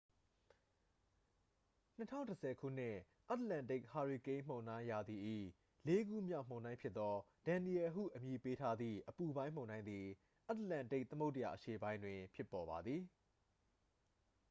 2010 ခုနှစ် အတ္တလန္တိတ် ဟာရီကိန်းမုန်တိုင်းရာသီ၏ လေးခုမြောက်မုန်တိုင်းဖြစ်သော danielle ဟုအမည်ပေးထားသည့် အပူပိုင်းမုန်တိုင်းသည် အတ္တလန္တိတ်သမုဒ္ဒရာအရှေ့ပိုင်းတွင် ဖြစ်ပေါ်ပါသည်